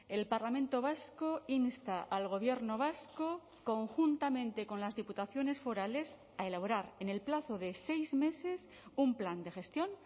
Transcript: el parlamento vasco insta al gobierno vasco conjuntamente con las diputaciones forales a elaborar en el plazo de seis meses un plan de gestión